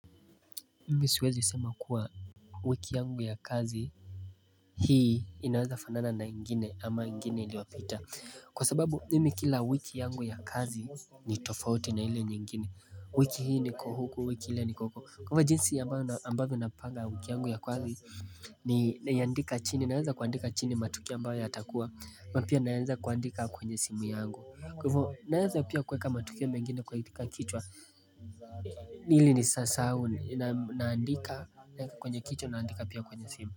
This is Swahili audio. Mimi siwezi sema kuwa wiki yangu ya kazi Hii inaweza fanana na ingine ama ingine iliyopita Kwa sababu mimi kila wiki yangu ya kazi ni tofauti na hile nyingine wiki hii niko huku wiki hile niko uko kwa hivyo jinsi ambayo ambavyo napanga wiki yangu ya kazi ni naiandika chini naweza kuandika chini matukio ambayo yatakuwa ama pia naweza kuandika kwenye simu yangu kwa hivo naweza pia kuweka matokeo mengine kuandika kichwa hili nisisahau naandika naeka kwenye kichwa naandika pia kwenye simu.